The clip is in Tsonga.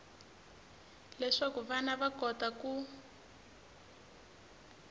leswaku vana va kota ku